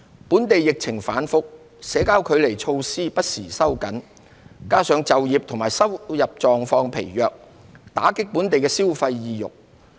本地疫情反覆，社交距離措施不時收緊，加上就業和收入狀況疲弱，打擊本地消費意欲。